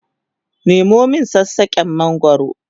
Nemo min sassaken mangwaro!